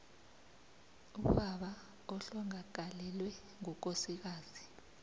ubaba ohlongakalelwe ngukosikazi